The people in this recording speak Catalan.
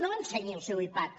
no ensenyi el seu ipad